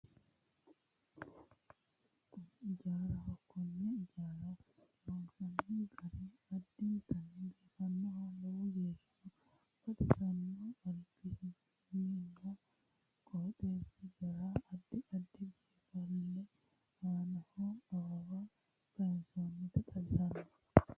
Kuni ijaaraho konne ijaara loonsoonni gari addintanni biifannonna lowo geeshsha baxosanno albasiinninna qooxeessisira addi addi biinfille aanno awawa kaaysoonnita xawissanno.